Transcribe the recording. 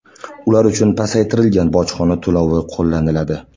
Ular uchun pasaytirilgan bojxona to‘lovi qo‘llaniladi.